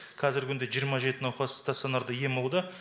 қазіргі күнде жиырма жеті науқас станционарда ем алуда